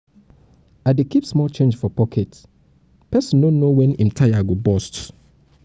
i dey keep small change for pocket pocket pesin no know wen im tire go burst.